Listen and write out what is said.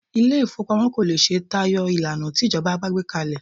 Ilé ìfowópamọ́ ò lè ṣe tayọ ìlànà tí ìjọba bá gbé kalẹ̀